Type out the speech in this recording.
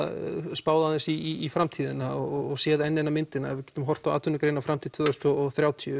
spáð aðeins í framtíðina og séð enn eina myndina ef við getum horft á atvinnugreinar fram til tvö þúsund og þrjátíu